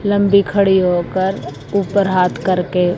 लंबी खड़ी होकर ऊपर हाथ करके--